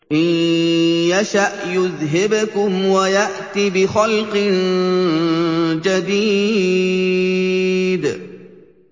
إِن يَشَأْ يُذْهِبْكُمْ وَيَأْتِ بِخَلْقٍ جَدِيدٍ